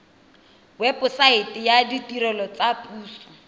webosaete ya ditirelo tsa puso